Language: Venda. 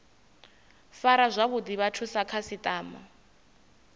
fara zwavhuḓi vhathu sa khasiṱama